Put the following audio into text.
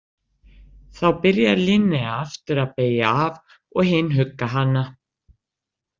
Þá byrjar Linnea aftur að beygja af og hin hugga hana.